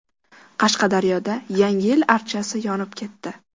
Qashqadaryoda Yangi yil archasi yonib ketdi .